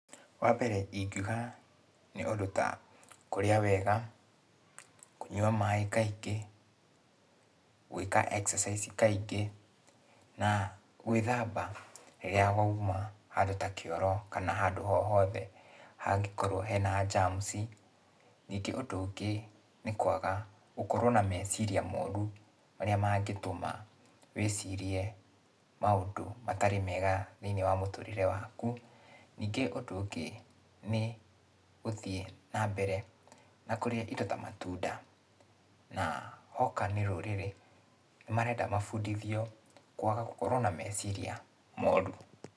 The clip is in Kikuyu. Wambere ingiuga nĩ ũndũ ta, kũrĩa wega, kũnyua maĩ kaingĩ, gũĩka exercise kaingĩ, na gwĩthamba rĩrĩa wauma handũ ta kĩoro kana handũ ho hothe hangĩkorwo hena germ ci. Ningĩ ũndũ ũngĩ nĩ kwaga gũkorwo na meciria moru marĩa mangĩtũma wĩcirie maũndũ matarĩ mega thĩiniĩ wa mũtũrĩre waku. Ningĩ ũndũ ũngĩ nĩ gũthiĩ nambere na kũrĩa indo ta matunda. Na hoka nĩ rũrĩrĩ, nĩmarenda mabundithio, kwaga gũkorwo na meciria moru.